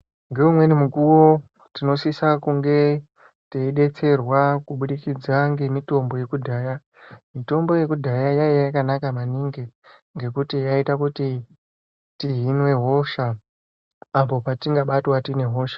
Ngeumweni mukuwo, tinosisa kunge teidetserwa kubudikidza ngemitombo yekudhaya. Mitombo yekudhaya, yaiya yakanaka maningi, ngekuti yaiita kuti tihinwe hosha apo patingabatwa tiine hosha.